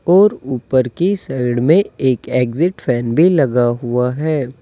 और ऊपर की साइड में एक एग्जिट फैन भी लगा हुआ है।